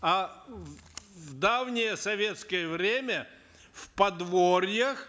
а в давнее советское время в подворьях